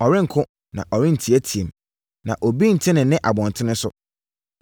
Ɔrenko, na ɔrenteateam. Na obi rente ne nne abɔntene so!